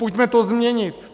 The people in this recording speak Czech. Pojďme to změnit!